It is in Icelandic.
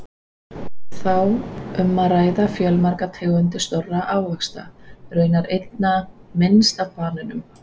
Er þá um að ræða fjölmargar tegundir stórra ávaxta, raunar einna minnst af banönum!